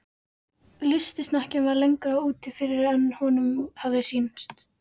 Lystisnekkjan var lengra úti fyrir en honum hafði sýnst.